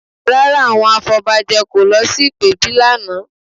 Rárá, àwọn afọbajẹ kò lọ sí ìpèbí lánàá